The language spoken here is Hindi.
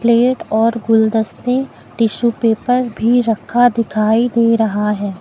प्लेट और गुलदस्ते टिशू पेपर भी रखा दिखाई दे रहा है।